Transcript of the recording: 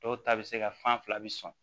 Dɔw ta bɛ se ka fan fila bi sɔn